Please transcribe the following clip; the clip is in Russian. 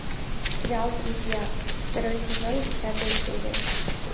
сериал друзья второй сезон десятая серия